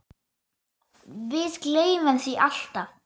Við gleymum því alltaf